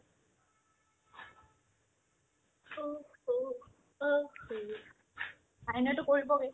অ' স' অ' হৰি আইনোয়েতো কৰিবগে